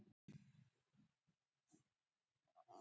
Áttirðu von á þessu?